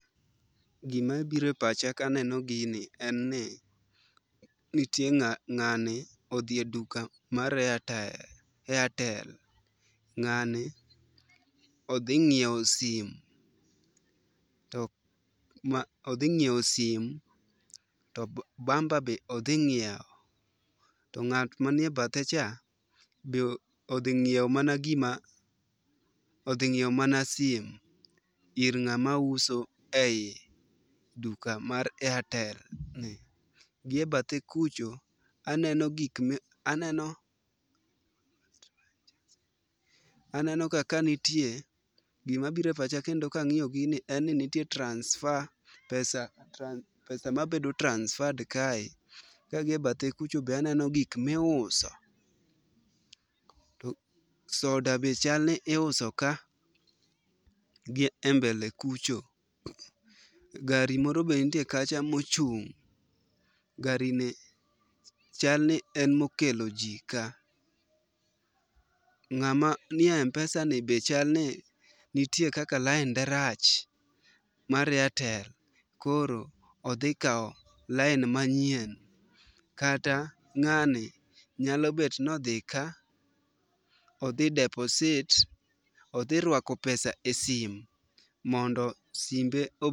Gima biro e pacha kaneno gini en ni nitie ng'ani odhi e duka mar airtel, ng'ani odhi ng'iewo sim to bamba be odhi nyiewo. To ng'at manie bathe cha be odhi ng'iewo mana gima, odhi ng'iewo mana sim ir ng'ama uso ei duka mar airtel. Giebathe kucha aneno gik ma aneno aneno kaka nitie gima biro e pacha kendo ka ang'iyo gini en ni nitie transfer pesa transf pesa ma bedo transfer kae kang'iyo gie bathe kucha be aneno gik ma iuso. Soda be chalni iuso ka gie mbele kucho, gari moro be nitie kacha mochung', garini chal ni en mokelo ji ka. Ng'at manie m-pesa ni be chal ni nitie kaka lainde rach, mar airtel, koro odhi kawo lain manyien. Kata ng'ani nyalo bet ni odhi ka odhi deposit odhi ruako pesa e sim mondo simbe o